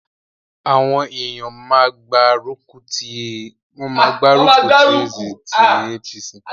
Àwọn èèyàn má gbá rùkùtí APC